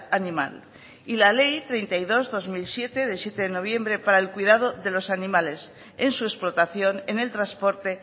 animal y la ley treinta y dos barra dos mil siete de siete de noviembre para el cuidado de los animales en su explotación en el transporte